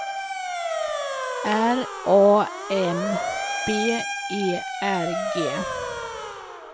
R A M B E R G